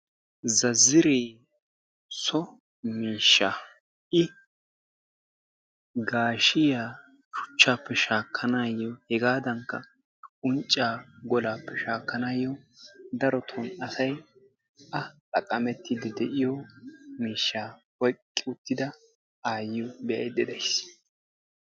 Zazzaree so miishsha i gaashiya shuchchaappe shaakkanaayyo hegaadankka unccaa golaappe shaakkanaayyo daroto asayi a xaqqamettiiddi de"iyo miishshaa oyqqi uttida aayyiyo be"ayidda de"ayis.